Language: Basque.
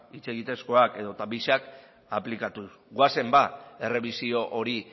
hitz egitezkoak edota biak aplikatuz goazen ba errebisio hori